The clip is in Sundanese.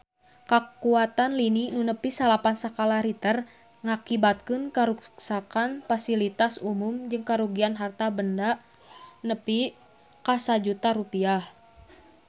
Kakuatan lini nu nepi salapan skala Richter ngakibatkeun karuksakan pasilitas umum jeung karugian harta banda nepi ka 1 juta rupiah